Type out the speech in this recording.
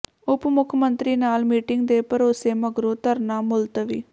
ਉਪ ਮੁੱਖ ਮੰਤਰੀ ਨਾਲ ਮੀਟਿੰਗ ਦੇ ਭਰੋਸੇ ਮਗਰੋਂ ਧਰਨਾ ਮੁਲਤਵੀ